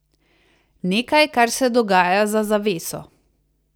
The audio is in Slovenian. Nekaj, kar se dogaja za zaveso.